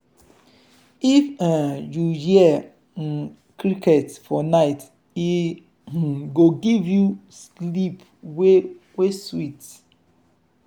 if um you hear um crickets for night e um go give you sleep wey wey sweet.